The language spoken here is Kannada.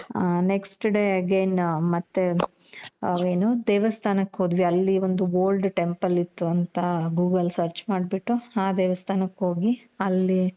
ಆ next day again ಮತ್ತೆ ಏನು ದೇವಸ್ತಾನಕ್ಕೆ ಹೋದ್ವಿ, ಅಲ್ಲಿ ಒಂದು old temple ಇತ್ತು ಅಂತ google search ಮಾಡ್ಬಿಟ್ಟು ಆ ದೇವಸ್ತಾನಕ್ಕೆ ಹೋಗಿ ಅಲ್ಲಿ